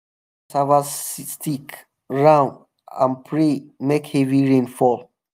i arrange cassava stick round and pray make heavy rain fall.